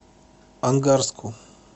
ангарску